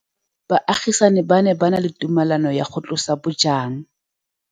Baagisani ba ne ba na le tumalanô ya go tlosa bojang.